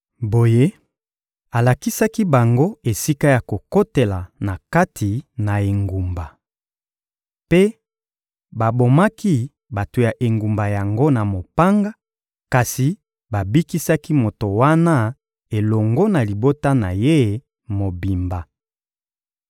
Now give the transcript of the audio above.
Boye, alakisaki bango esika ya kokotela na kati na engumba. Mpe babomaki bato ya engumba yango na mopanga, kasi babikisaki moto wana elongo na libota na ye mobimba.